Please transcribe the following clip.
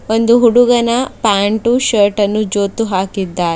ಒಂದು ಹುಡುಗನ ಪ್ಯಾಂಟು ಶರ್ಟುನು ಜೋತು ಹಾಕಿದ್ದಾರೆ.